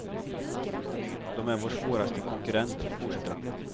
De är vår svåraste konkurrent, fortsätter han.